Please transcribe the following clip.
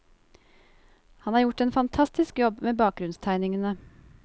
Han har gjort en fantastisk jobb med bakgrunnstegningene.